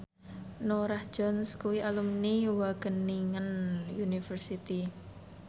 Norah Jones kuwi alumni Wageningen University